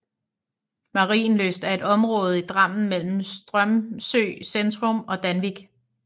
Marienlyst er et område i Drammen mellem Strømsø centrum og Danvik